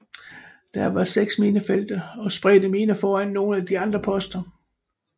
Der var seks minefelter og spredte miner foran nogle af de andre poster